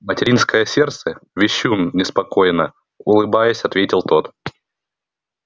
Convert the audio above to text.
материнское сердце вещун неспокойно улыбаясь ответил тот